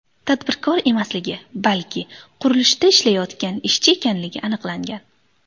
tadbirkor emasligi, balki qurilishda ishlayotgan ishchi ekanligi aniqlangan.